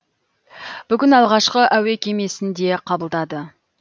бүгін алғашқы әуе кемесін де қабылдады